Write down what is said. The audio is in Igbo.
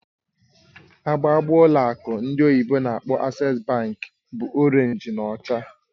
Agba agba n'ụlọ akụ ndị oyibo n'akpọ "Access bank" bụ Orénj na ọcha